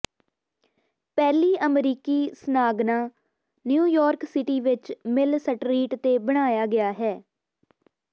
ਪਹਿਲੀ ਅਮਰੀਕੀ ਸਨਾਗਨਾ ਨਿਊਯਾਰਕ ਸਿਟੀ ਵਿਚ ਮਿਲ ਸਟਰੀਟ ਤੇ ਬਣਾਇਆ ਗਿਆ ਹੈ